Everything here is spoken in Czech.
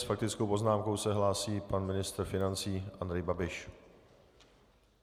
S faktickou poznámkou se hlásí pan ministr financí Andrej Babiš.